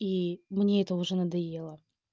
и мне это уже надоело